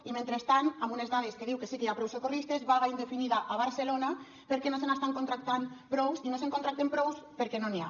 i mentrestant amb unes dades que diu que sí que hi ha prou socorristes vaga indefinida a barcelona perquè no se n’estan contractant prous i no se’n contracten prous perquè no n’hi ha